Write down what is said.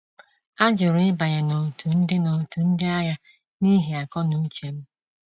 A jụrụ ịbanye n'otu ndị n'otu ndị agha n'ihi akọnuche m.